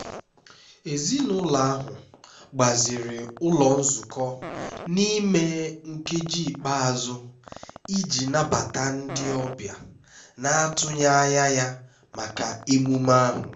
ezinụlọ ahụ gbaziri ụlọ nzukọ n'ime nkeji ikpeazụ iji nabata ndị ọbịa na-atụghị anya ya maka emume ahụ